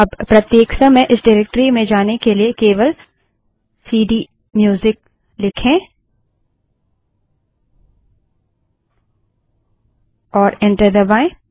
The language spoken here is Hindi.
अब प्रत्येक समय इस डाइरेक्टरी में जाने के लिए केवल सीडीम्यूजिक लिखें और एंटर दबायें